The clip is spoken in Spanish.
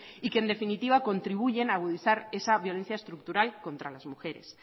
y que en definitiva contribuyen agudizar esa violencia estructural contra las mujeres